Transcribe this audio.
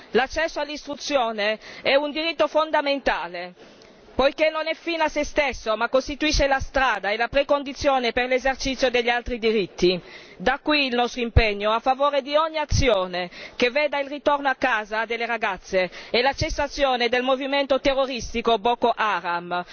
L'accesso all'istruzione è un diritto fondamentale, poiché non è fine a se stesso, ma costituisce la strada e la precondizione per l'esercizio degli altri diritti. Da qui il nostro impegno a favore di ogni azione che veda il ritorno a casa delle ragazze e la cessazione del movimento terroristico Boko Haram.